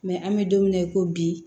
Mɛ an bɛ don min na i ko bi